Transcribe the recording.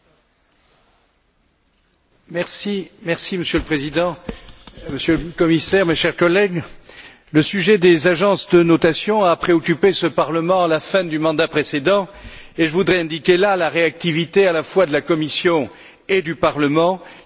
Monsieur le Président, Monsieur le Commissaire, chers collègues, le sujet des agences de notation a préoccupé ce Parlement à la fin du mandat précédent et je voudrais indiquer à ce propos la réactivité à la fois de la Commission et du Parlement, qui a adopté un règlement relatif aux agences de notation.